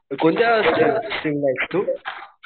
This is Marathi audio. कोणत्या स्ट्रीम स्त्रीमलायेस तू?